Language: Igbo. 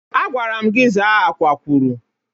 Agwara m gị zaa Akwakwụrụ.